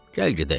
Gəl gedək.